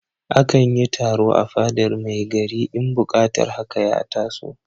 A kan yi taro a fadar mai gari in buƙatar haka ya taso.